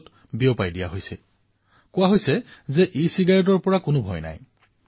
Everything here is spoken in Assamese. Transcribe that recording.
এই ভুল ধাৰণা প্ৰচাৰ কৰা হৈছে যে ইচিগাৰেটৰ পৰা কোনো বিপদ নহয়